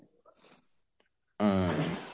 উম